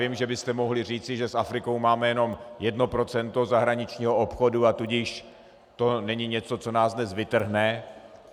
Vím, že byste mohli říci, že s Afrikou máme jenom jedno procento zahraničního obchodu, a tudíž to není něco, co nás dnes vytrhne.